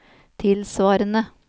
tilsvarende